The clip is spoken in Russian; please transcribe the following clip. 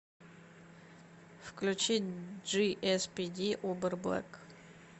включи джиэспиди убер блэк